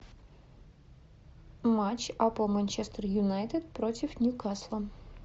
матч апл манчестер юнайтед против ньюкасла